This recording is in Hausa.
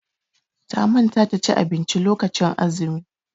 Ta manta ta ci abinci lokacin azumi.